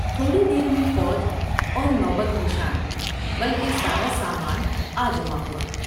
تھوڑی دیر میں فوج اور نوبت نشان بلکہ سارا سامان آجمع ہوا ۔